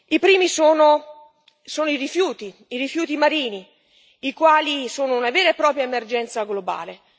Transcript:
I primi sono i rifiuti, i rifiuti marini, i quali sono una vera e propria emergenza globale.